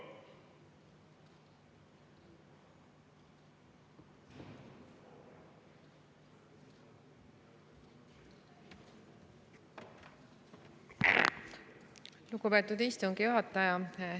Lugupeetud istungi juhataja!